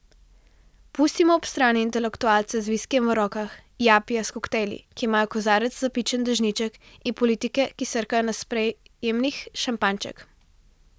Pustimo ob strani intelektualce z viskijem v rokah, japije s koktajli, ki imajo v kozarec zapičen dežniček, in politike, ki srkajo na sprejemih šampanjček.